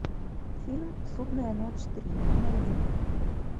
фильм судная ночь три найди